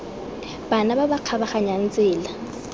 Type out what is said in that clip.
bana ba ba kgabaganyang tsela